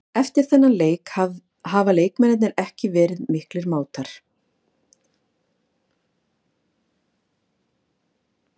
Eftir þennan leik hafa leikmennirnir ekki verið miklir mátar.